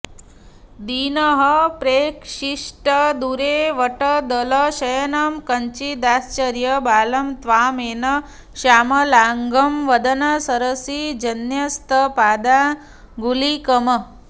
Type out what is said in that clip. दीनः प्रैक्षिष्ट दूरे वटदलशयनं कञ्चिदाश्चर्यबालं त्वामेव श्यामलाङ्गं वदनसरसिजन्यस्तपादाङ्गुलीकम्